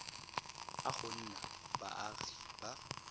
a go nna baagi ba